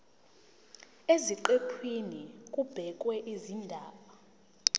eziqephini kubhekwe izindaba